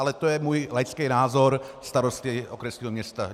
Ale to je můj laický názor starosty okresního města.